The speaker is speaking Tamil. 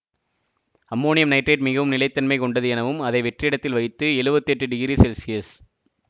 அம்மோனியம் நைட்ரேட் மிகவும் நிலை தனமை கொண்டது எனவும் அதை வெற்றிடத்தில் வைத்து எழுவத்தி எட்டு டிகிரி செல்சியஸ்